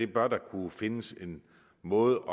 bør der kunne findes en måde